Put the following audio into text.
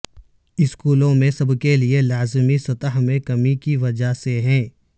اسکولوں میں سب کے لئے لازمی سطح میں کمی کی وجہ سے ہے